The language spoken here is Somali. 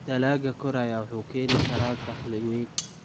Dalagga koraya wuxuu keeni karaa dakhli weyn.